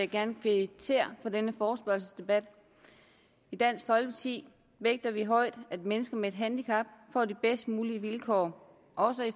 gerne kvittere for denne forespørgselsdebat i dansk folkeparti vægter vi højt at mennesker med et handicap får de bedste mulige vilkår også